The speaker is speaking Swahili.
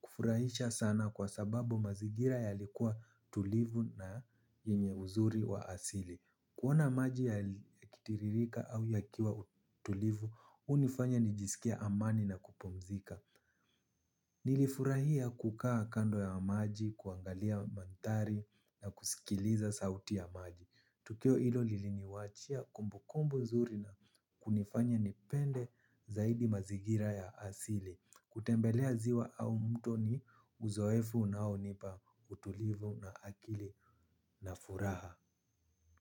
kufurahisha sana kwa sababu mazigira yalikuwa tulivu na yenye uzuri wa asili. Kuona maji yakitiririka au yakiwa tulivu, hunifanya nijisikie amani na kupumzika. Nilifurahia kukaa kando ya maji, kuangalia manthari na kusikiliza sauti ya maji. Tukio hilo liliniwachia kumbu kumbu nzuri na kunifanya nipende zaidi mazigira ya asili. Kutembelea ziwa au mto ni uzoefu nao hunipa utulivu na akili na furaha.